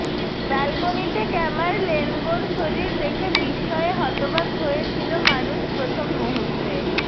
ব্যালকনিতে ক্যামারলেনগোর শরীর দেখে বিস্ময়ে হতবাক হয়ে ছিল মানুষ প্রথম মুহূর্তে